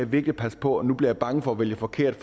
virkelig passe på og nu bliver jeg bange for at vælge forkert